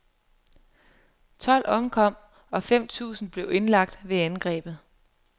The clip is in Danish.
Tolv omkom, og fem tusind blev indlagt ved angrebet.